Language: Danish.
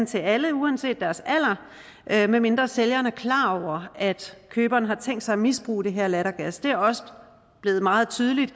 til alle uanset deres alder medmindre sælgeren er klar over at køberen har tænkt sig at misbruge den her lattergas det er også blevet meget tydeligt